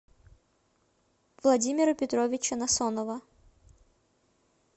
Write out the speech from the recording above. владимира петровича насонова